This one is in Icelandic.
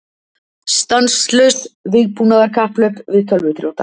Stanslaust vígbúnaðarkapphlaup við tölvuþrjóta